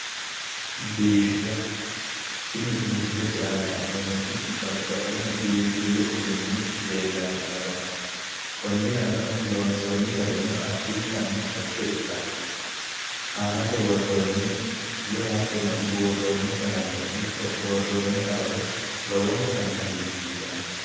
Biifisa. Tini misilete aana la'neemmoti babbaxxino biinfillu uduunni afamanno. Konnirano loonsoonni garino addintanni dhagge ikkanno. Aanasi worroonni woyi hattono buurroonni qalameno ikko worroonni awawi lowontanni hagiirsiisanno.